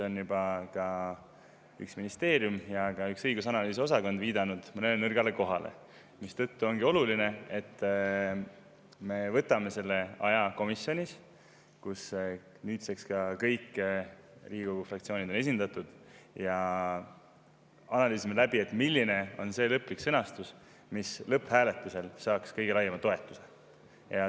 Üks ministeerium ja üks õigus‑ ja analüüsiosakond on juba viidanud seal mõnele nõrgale kohale, mistõttu ongi oluline, et me võtaksime selle aja komisjonis, kus nüüdseks on kõik Riigikogu fraktsioonid esindatud, ja analüüsiksime läbi, milline on see lõplik sõnastus, mis saaks lõpphääletusel kõige laiema toetuse.